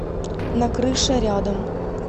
на крыше рядом